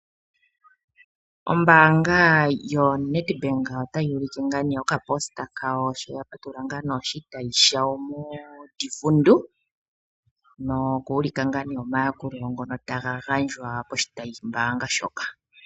Ombaanga yo Nedbank ota yi ulike okafo kawo, sho ya patulula oshitayi shayo moDivundu, moka ya ulika omayakulilo ngoka ta ga ka kala moshitayimbaanga shoka.